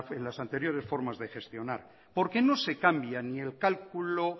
en las anteriores formas de gestionar porque no se cambia ni el cálculo